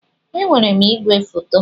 Ee, enwere m ìgwè foto.